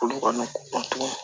Olu kɔni